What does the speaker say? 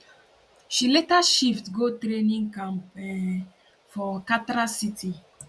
she later shift go training camp um for katra city